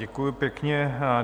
Děkuju pěkně.